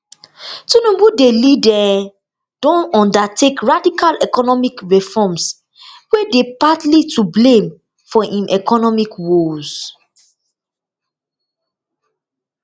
tinubu dey lead um don undertake radical economic reforms wey dey partly to blame for im economic woes